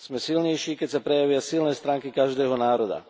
Sme silnejší, keď sa prejavia silné stránky každého národa.